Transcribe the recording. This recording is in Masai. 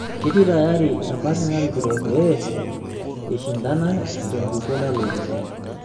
Ketii tayari empati narikito pee eishandana tenkukuo nalotu.